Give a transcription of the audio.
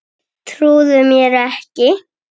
Trúði mér ekki.